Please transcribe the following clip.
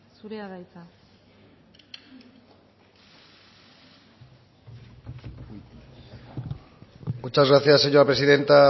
zurea da hitza muchas gracias señora presidenta